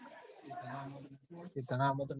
તન આમંત્રણ નતું આલ્યું